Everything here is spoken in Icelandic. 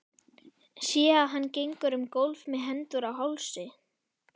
Sé að hann gengur um gólf með hendur á hálsi.